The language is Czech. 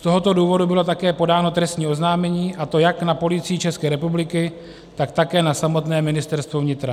Z tohoto důvodu bylo také podáno trestní oznámení, a to jak na Policii České republiky, tak také na samotné Ministerstvo vnitra.